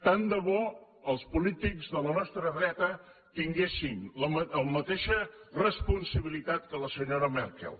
tant de bo els polítics de la nostra dreta tinguessin la mateixa responsabilitat que la senyora merkel